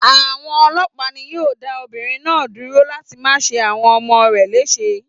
Àwọn ọlọ́pàá ni yóò dá obìnrin náà dúró láti má ṣe àwọn ọmọ rẹ̀ léṣe.